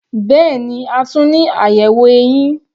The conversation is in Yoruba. Bẹ́ẹ̀ni, a tún ní àyẹ̀wò eyín.